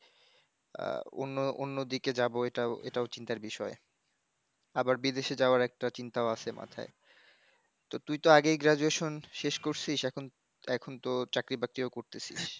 আহ, অন্য, অন্য দিকে যাবো এটাও এটাও চিন্তার বিষয়, আবার বিদেশে যাওয়ার একটা চিন্তাও আছে মাথায়, তো তুই তো আগেই graduation শেষ করছিস এখন, এখন এখন তো চাকরি বাকরিও করতেছিস।